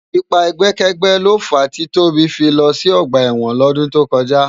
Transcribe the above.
Ipá ègbèkègbè ló fá ti Tobi fi lò si ògbá èwòn lòdún tókòjá